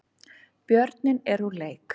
Björninn er úr leik